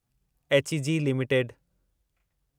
HEG limited